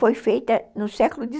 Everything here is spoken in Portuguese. Foi feita no século